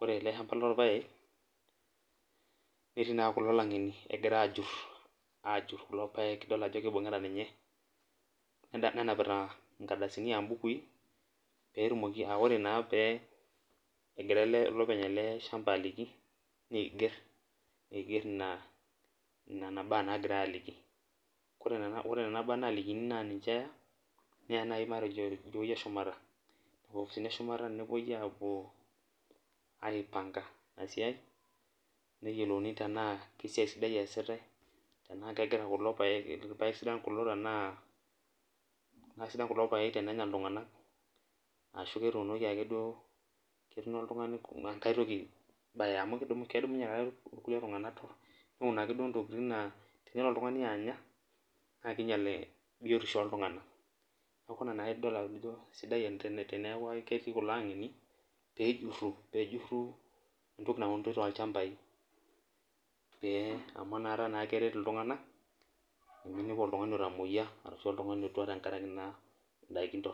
Ore ele shamba lorpaek, netii naa kulo lang'eni egura ajur, ajur kulo paek dol ajo kibung'ita ninye, nenapita nkardasini abukui, petumoki ah ore naa egira ele olopeny ele shamba aliki, niiger, niger ina nena baa nagirai aliki. Kore nena baa nalikini na ninche eya, neya nai matejo tidiewei eshumata. Nkopisini eshumata nepoi apuo aipanka inasiai, neyiolouni tenaa kesiai sidai eesitai, tenaa kegira kulo paek, irpaek sidan kulo tenaa aisidan kulo paek tenenya iltung'anak, ashu ketuunoko ake duo ketuno oltung'ani enkae toki baya, amu kedumunye irkulie tung'anak neun ake duo ntokiting naa enelo oltung'ani anya, na kinyal biotisho oltung'anak. Neeku naa idol ajo sidai teneeku ketii kulo ang'eni, pejurru, pejurru entoki nauni tolchambai. Pee amu nakata nakeret iltung'anak, peminepu oltung'ani otamoyia, arashu oltung'ani otua tenkaraki naa daiki torrok.